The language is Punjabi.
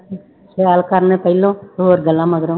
ਸੈਰ ਕਰਨ ਪਹਿਲੋਂ ਹੋਰ ਗੱਲਾਂ ਮਗਰੋਂ